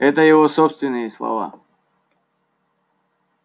это его собственные слова